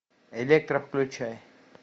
электра включай